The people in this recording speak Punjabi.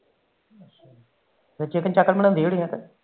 ਚੀਕਨ ਚਾਕਨ ਬਣਾਉਂਦੀ ਹੋਣੀ